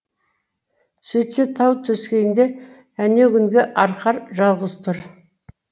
сөйтсе тау төскейінде әнеугүнгі арқар жалғыз тұр